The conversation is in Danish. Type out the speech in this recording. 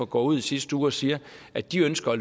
går ud i sidste uge og siger at de ønsker at